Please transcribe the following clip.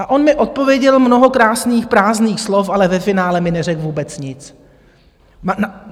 A on mi odpověděl mnoho krásných prázdných slov, ale ve finále mi neřekl vůbec nic.